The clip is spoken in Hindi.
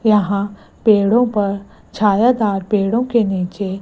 यहां पेड़ों पर छायादार पेड़ों के नीचे--